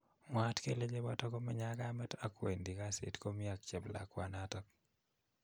Mwaat kele chepotok komenye ak kameet ak kwendii kasiit komii ak cheplakwanotok